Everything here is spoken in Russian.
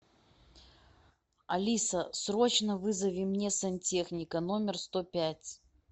алиса срочно вызови мне сантехника номер сто пять